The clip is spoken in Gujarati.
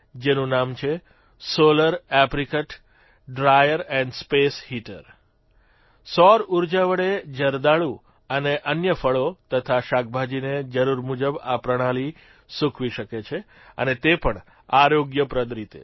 જેનું નામ છે solar apricot dryer and space heater સૌર ઉર્જા વડે જરદાલુ અને અન્ય ફળો તથા શાકભાજીને જરૂર મુજબ આ પ્રણાલી સૂકવી શકે છે અને તે પણ આરોગ્યપ્રદ રીતે